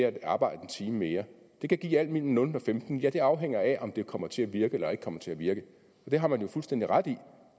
at arbejde en time mere det kan give alt mellem nul og femten ja det afhænger af om det kommer til at virke eller ikke kommer til at virke og det har man jo fuldstændig ret i